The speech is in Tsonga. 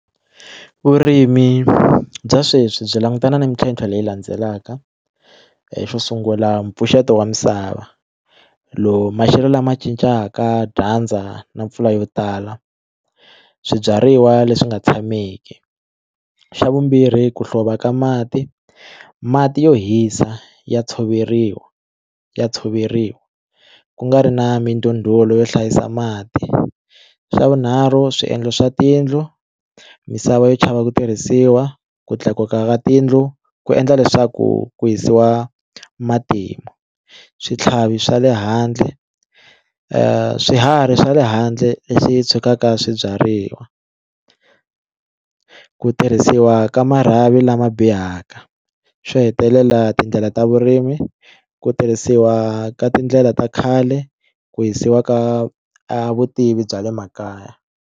Vurimi bya sweswi byi langutana na mintlhontlho leyi landzelaka xo sungula mpfuxeto wa misava lowu maxelo lama cincaka dyandza na mpfula yo tala swibyariwa leswi nga tshameki xa vumbirhi ku hlova ka mati mati yo hisa ya tshoveriwa ya tshoveriwa ku nga ri na mindhundhulo yo hlayisa mati xa vunharhu swiendlo swa tiyindlu misava yo chava ku tirhisiwa ku tlakuka ka tiyindlu ku endla leswaku ku hisiwa matimu switlhavi swa le handle swiharhi swa le handle leswi tshukaka swibyariwa ku tirhisiwa ka marhavi lama bihaka xo hetelela tindlela ta vurimi ku tirhisiwa ka tindlela ta khale ku hisiwa ka vutivi bya le makaya.